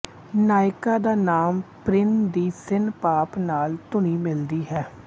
ਨਾਇਕਾ ਦਾ ਨਾਮ ਪ੍ਰਿਨ ਦੀ ਸਿਨ ਪਾਪ ਨਾਲ ਧੁਨੀ ਮਿਲਦੀ ਹੈ